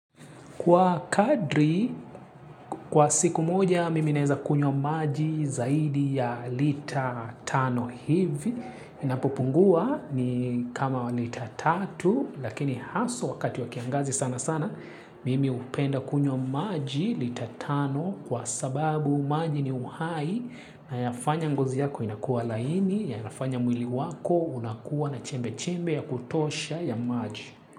Kwa kadri, kwa siku moja, mimi naeza kunywa maji zaidi ya lita tano hivi. Inapopungua ni kama lita tatu, lakini haswa wakati wa kiangazi sana sana, mimi hupenda kunywa maji lita tano kwa sababu maji ni uhai na yafanya ngozi yako inakua laini, yanafanya mwili wako unakuwa na chembe-chembe ya kutosha ya maji.